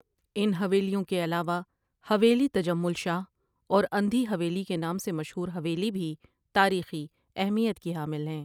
ان حویلیوں کے علاوہ حویلی تجمل شاہ اور اندھی حویلی کے نام سے مشہور حویلی بھی تاریخی اہمیت کی حامل ہیں۔